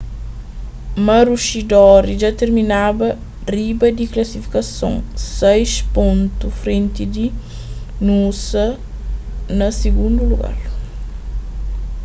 maroochydore dja terminaba riba di klasifikason sais pontu frenti di noosa na sigundu lugar